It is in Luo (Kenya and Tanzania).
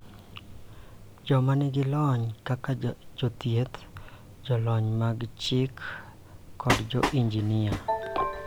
Joma nigi lony kaka jothieth, jolony mag chik, kod jo-injinia